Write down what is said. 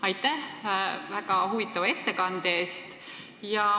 Aitäh väga huvitava ettekande eest!